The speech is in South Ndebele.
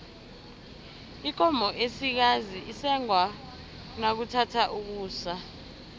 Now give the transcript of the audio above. ikomo esikazi isengwa nakuthatha ukusa